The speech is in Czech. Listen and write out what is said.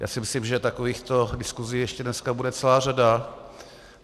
Já si myslím, že takovýchto diskusí ještě dneska bude celá řada.